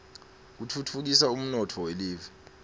kutfutfukisa umnotfo welive